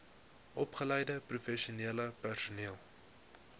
opgeleide professionele personeel